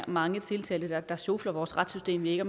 mange tiltalte der sjofler vores retssystem ved ikke